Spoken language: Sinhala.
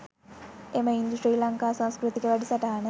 එම ඉන්දු ශ්‍රී ලංකා සංස්කෘතික වැඩසටහන